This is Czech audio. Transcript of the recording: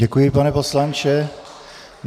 Děkuji, pane poslanče.